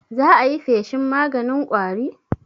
za ayi feshin maganin ƙwari?